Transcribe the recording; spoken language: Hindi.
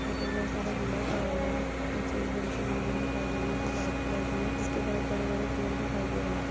यहाँ पर बहुत सारा घोड़ा पड़ा हुआ है। पीछे एक बड़ी सी बिल्डिंग दिखाई दे रही है जो वाइट कलर की है जिसके पास बड़े-बड़े पेड़ दिखाई दे रहे हैं।